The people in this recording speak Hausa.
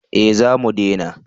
Eh za mu dena